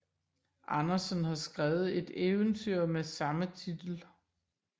Andersen har skrevet et eventyr med samme titel